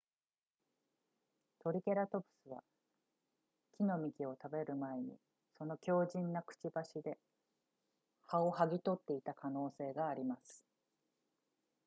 トリケラトプスは木の幹を食べる前にその強靭なくちばしで葉をはぎ取っていた可能性があります